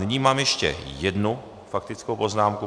Nyní mám ještě jednu faktickou poznámku.